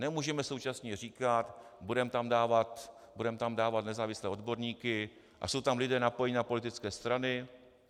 Nemůžeme současně říkat "budeme tam dávat nezávislé odborníky" - a jsou tam lidé napojení na politické strany.